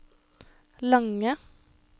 lange